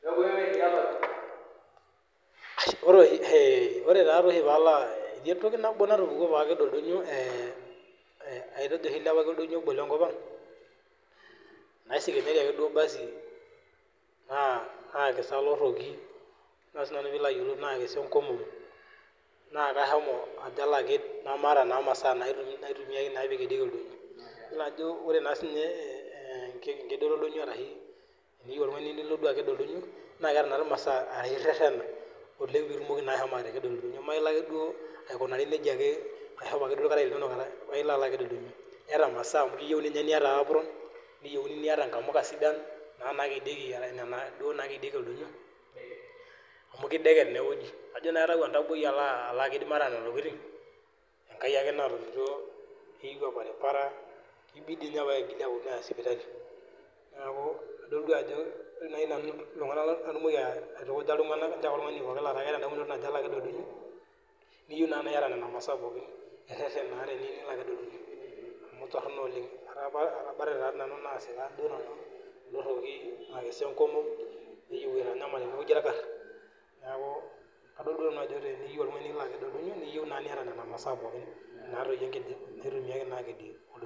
Atejo oshi ailepaki oldonyio lenkop ang nasiko oloroki nasika enkomom naa katejo alo aked namataa naa masaa naitumia pee ekidieki oldonyio eyiolo Ajo ore pee eyieu oltung'ani nilo aked oldonyio naa keeta masa ertena oleng pee etumoki ashomo atakedo oldonyio Milo ake duo nejiaeyata maasai amu keyieu niata upron niata nkamuka sidan nakedieki oldonyio amu kideket nalo naa aked maata Nena tokitin enkai ake natomituo kibidii ninye peeyie apuonunui Aya sipitali neeku adol Ajo ore iltung'ana laitukuj nanu naa ore pee eyata edamunoto Ajo eyieu nilo aked oldonyio niyieu naa niyata Nena masaa pookin amu Torono oleng etabatate nanu nasika eloroki nasika enkomom neyieu aitanyamal enewueji orkar neeku adol Ajo teniyieu oltung'ani niyieu nilo aked oldonyio niata Nena masaa pookin naitumiai akedie oldonyio